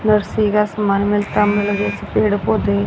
nursery का सामान मिलता पेड़ पौधे--